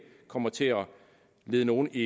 kommer til at lede nogen i